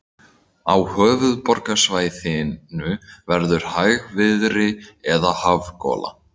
Á höfuðborgarsvæðinu verður hægviðri eða hafgola